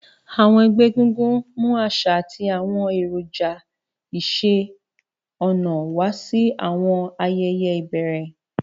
Àwọn ẹgbẹ́ egungun mú àṣà àti àwọn èròjà iṣẹ́-ọnà wá sí àwọn ayẹyẹ ìbẹ̀rẹ̀.